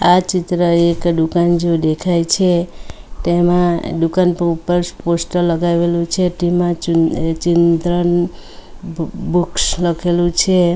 આ ચિત્ર એક દુકાન જેવુ દેખાઈ છે તેમા દુકાન પર ઉપર પોસ્ટર લગાવેલુ છે તેમા ચિલ ચિલ્ડ્રન બુ બુક્સ લખેલુ છે.